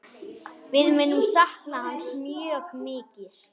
Við munum sakna hans mikið.